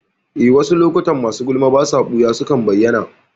Eh, wasu lokuta masu gulma basa ɓuya sukan bayyana